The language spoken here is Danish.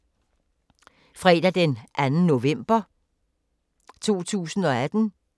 Fredag d. 2. november 2018